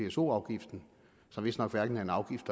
pso afgiften som vistnok hverken er en afgift